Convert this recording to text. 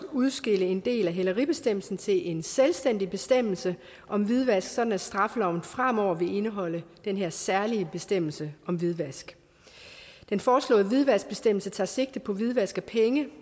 udskille en del af hæleribestemmelsen til en selvstændig bestemmelse om hvidvask sådan at straffeloven fremover vil indeholde den her særlige bestemmelse om hvidvask den foreslåede hvidvaskbestemmelse tager sigte på hvidvask af penge